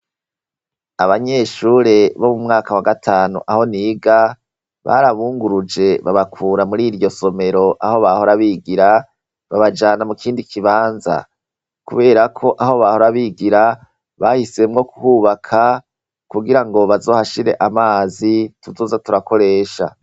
Abanyeshure bo mu mwaka wa gatanu aho niga, barabunguruje babakura mur' iryo somero aho bahora bigira babajana mu kindi kibanza kubera ko aho bahora bigira bahisemwo kuhubaka kugira ngo bazohashire amazi tuzoza turakoresha.